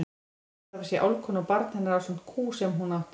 Hann segist hafa séð álfkonu og barn hennar ásamt kú sem hún átti.